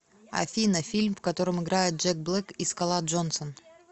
афина фильм в котором играет джек блэк и скала джонсон